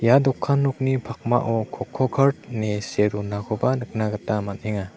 ia dokan nokni pakmao kokokart ine see donakoba nikna gita man·enga.